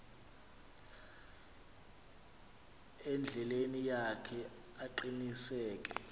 endleleni yakhe aqiniseke